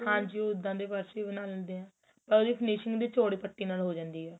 ਹਾਂਜੀ ਉਹਦਾ ਦੇ purse ਵੀ ਬਣਾਂਦੇ ਆ ਤਾਂ ਉਹਦੀ finishing ਵੀ ਚੋੜੀ ਪਤੀ ਨਾਲ ਹੋ ਜਾਂਦੀ ਏ